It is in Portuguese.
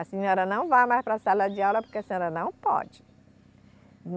A senhora não vai mais para a sala de aula porque a senhora não pode.